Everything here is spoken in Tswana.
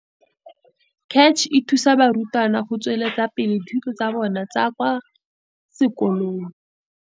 Re le puso, le fa tota re aparetswe ke leru le letsho mo ikonoming ya rona, re tla tswelela go duelela dipapatso mo makwalodikganyeng le mo mananeokgasong, bo golojang mo diyalemoweng tsa baagi.